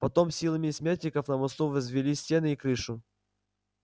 потом силами смертников на мосту возвели стены и крышу